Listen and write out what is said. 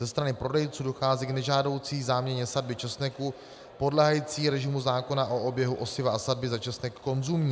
Ze strany prodejců dochází k nežádoucí záměně sadby česneku podléhající režimu zákona o oběhu osiva a sadby za česnek konzumní.